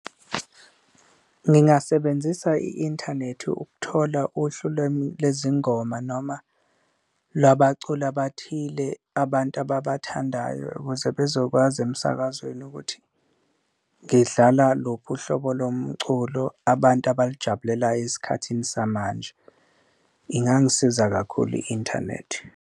Ngingasebenzisa i-inthanethi ukuthola uhlu lezingoma noma lwabaculi abathile abantu ababathandayo ukuze bezokwazi emsakazweni ukuthi ngidlala luphi uhlobo lomculo abantu abalujabulelayo esikhathini samanje, ingangisiza kakhulu i-inthanethi.